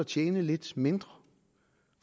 tjene lidt mindre